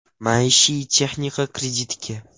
Maishiy texnika kreditga!.